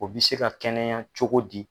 O bɛ se ka kɛnɛya cogo di.